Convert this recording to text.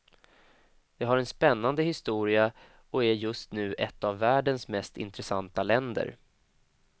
Det har en spännande historia och är just nu ett av världens mest intressanta länder.